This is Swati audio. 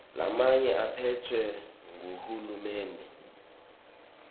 lamanye aphetfwe nguhulumende